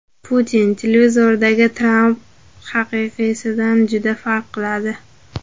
Putin: Televizordagi Tramp haqiqiysidan juda farq qiladi.